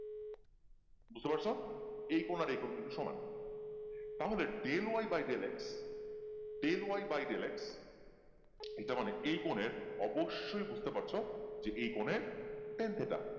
বুঝতে পারছো এই কোন আর এই কোন কিন্তু সমান তাহলে del Y by del X del Y by del X এইটা মানে এই কোণের অবশই বুঝতে পারছো যে এই কনের ten thita